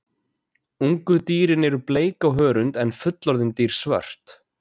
Ungu dýrin eru bleik á hörund en fullorðin dýr svört.